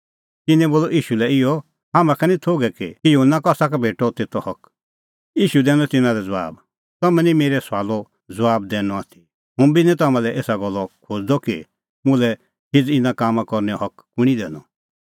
तिन्नैं बोलअ ईशू लै इहअ हाम्हां का निं थोघै कि युहन्ना कसा का भेटअ तेतो हक ईशू दैनअ तिन्नां लै ज़बाब तम्हैं निं मेरै सुआलो ज़बाब दैनअ आथी हुंबी निं तम्हां लै एसा गल्ला खोज़दअ कि मुल्है हिझ़ इना कामां करनैओ हक कुंणी दैनअ